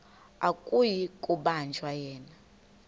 akuyi kubanjwa yena